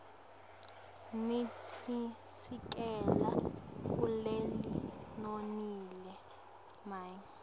nitisikela kulelinonile mine